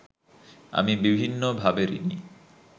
আমি বিভিন্নভাবে ঋণী